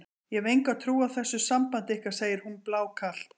Ég hef enga trú á þessu sambandi ykkar, segir hún blákalt.